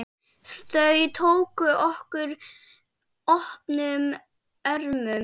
Þau tóku okkur opnum örmum.